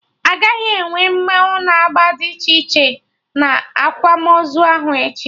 Aga enwe mmanwụ na agba dị iche iche na akwamozu ahụ echi